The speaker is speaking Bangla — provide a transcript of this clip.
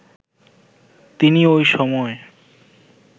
তিনি ওই সময়